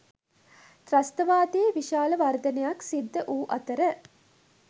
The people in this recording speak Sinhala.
ත්‍රස්තවාදයේ විශාල වර්ධනයක් සිද්ද වූ අතර